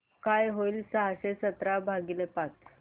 काय होईल सहाशे सतरा भागीले पाच